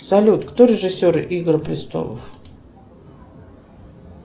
салют кто режиссер игры престолов